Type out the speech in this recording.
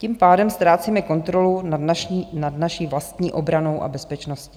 Tím pádem ztrácíme kontrolu nad naší vlastní obranou a bezpečností.